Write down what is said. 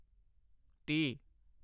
ਤੀਹ